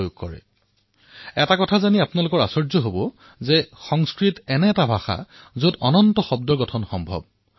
আপোনালোকে এটা কথা জানি আচৰিত হব যে সংস্কৃত এনে এক ভাষা যত অনন্ত শব্দৰ নিৰ্মাণ সম্ভৱ